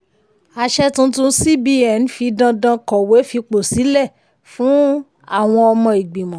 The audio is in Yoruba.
àṣẹ tuntun cbn fi dandan kọ̀wé fipò sílẹ̀ fún àwọn ọmọ igbimọ̀.